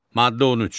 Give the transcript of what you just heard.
Maddə 13.